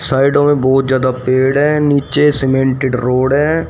साइडों में बहोत ज्यादा पेड़ हैं नीचे सीमेंटेड रोड है।